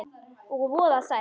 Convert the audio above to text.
Og voða sætt.